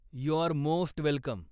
You are most welcome.